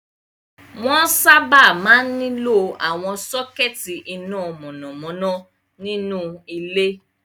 Wọ́n sábà máa ń nílò àwọn sọ́kẹ́tí iná mọ̀nàmọ́ná nínú ilé.